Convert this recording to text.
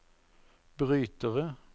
brytere